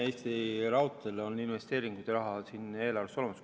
Kui sa vaatad, siis Eesti Raudteel on investeeringute raha eelarves olemas.